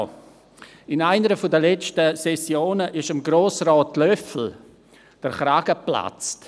Während einer der letzten Sessionen ist Grossrat Löffel der Kragen geplatzt.